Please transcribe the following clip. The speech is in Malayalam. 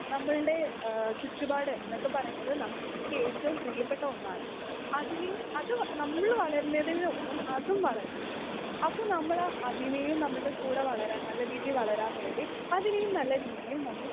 സ്പീക്കർ 2 നമ്മൾടെ ഏഹ് ചുറ്റുപാട് ന്നൊക്കെ പറേണതും നമ്മുക്ക് ഏറ്റവും പ്രിയപ്പെട്ട ഒന്നാണ് അതിന് അത് നമ്മൾ വളർന്നെന്റെ ഒരൊപ്പം അതും വളര്ണ്ണ്ട് അപ്പൊ നമ്മൾ അതിനെയും നമ്മുടെ കൂടെ വളരാൻ നല്ല രീതിയിൽ വളരാൻ വേണ്ടി അതിനെയും നല്ല രീതിയിൽ നമ്മൾ